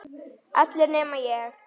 Allir nema ég.